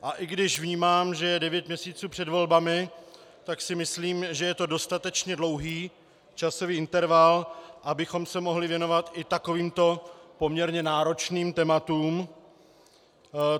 A i když vnímám, že je devět měsíců před volbami, tak si myslím, že je to dostatečně dlouhý časový interval, abychom se mohli věnovat i takovýmto poměrně náročným tématům.